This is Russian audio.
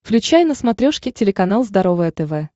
включай на смотрешке телеканал здоровое тв